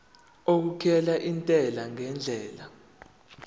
okukhokhela intela ngendlela